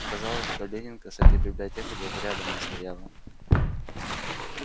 оказалось что ленинка с этой библиотекой даже рядом не стояла